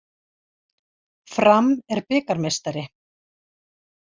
Fram er bikarmeistari